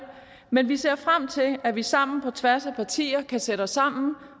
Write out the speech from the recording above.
men vi ser frem til at vi sammen på tværs af partier kan sætte os sammen